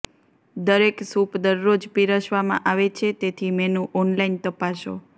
દરેક સૂપ દરરોજ પીરસવામાં આવે છે તેથી મેનુ ઓનલાઇન તપાસો